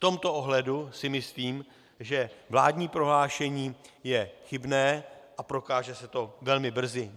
V tomto ohledu si myslím, že vládní prohlášení je chybné a prokáže se to velmi brzy.